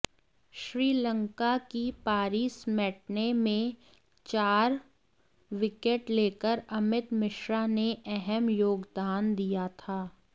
श्रीलंका की पारी समेटने में चार विकेट लेकर अमित मिश्रा ने अहम योगदान दिया था